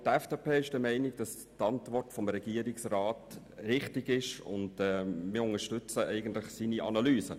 Auch die FDP ist der Meinung, dass die Antwort des Regierungsrats richtig ist, und wir unterstützen seine Analyse.